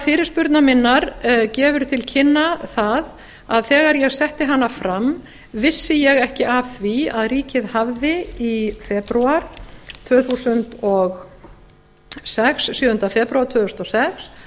fyrirspurnar minnar gefur til kynna það að þegar ég setti hana fram vissi ég ekki af því að ríkið hafði sjöunda febrúar tvö þúsund og sex